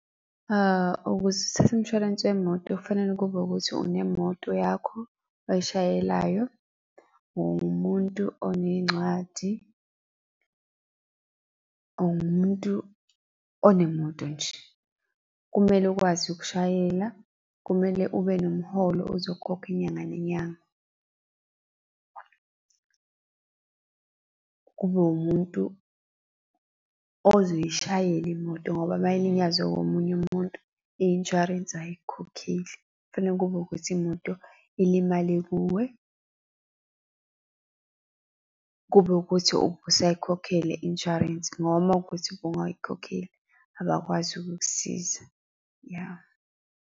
Ukuze uthathe umshwalense wemoto kufanele kube ukuthi unemoto yakho oyishayelayo, uwumuntu oney'ncwadi, uwumuntu onemoto nje. Kumele ukwazi ukushayela, kumele ube nomholo ozokhokha inyanga nenyanga. Kube wumuntu ozishayele imoto ngoba uma ilinyazwe omunye umuntu, i-insurance ayikhokhile, kufane kube ukuthi imoto ilimale kuwe, kube ukuthi ubusayikhokhela i-insurance, ngoba uma kuwukuthi ubungayikhokheli abakwazi ukukusiza, ya.